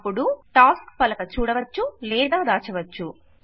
అపుడు టాస్క్ పలక చూడవచ్చు లేదా దాచవచ్చు